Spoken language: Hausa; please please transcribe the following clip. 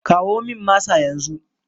Kawo min masa yanzu!